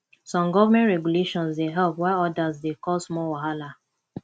some government regulations dey help while odas dey cause more wahala